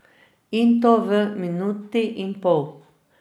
In to v minuti in pol.